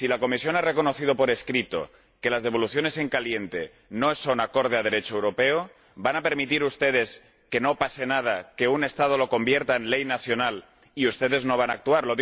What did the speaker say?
Si la Comisión ha reconocido por escrito que las devoluciones en caliente no son conformes al Derecho europeo, ¿van a permitir ustedes que no pase nada, que un Estado lo convierta en ley nacional sin que ustedes actúen?